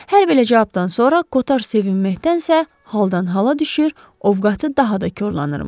Hər belə cavabdan sonra Kotar sevinməkdənsə, haldan-hala düşür, ovqatı daha da korlanırmış.